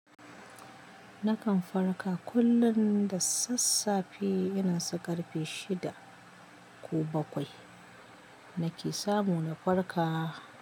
Nakan farka kullum da sassafe irinsu ƙarfe shida ko bakwai nake samu na farka.